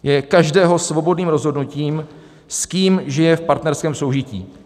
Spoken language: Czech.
Je každého svobodným rozhodnutím, s kým žije v partnerském soužití.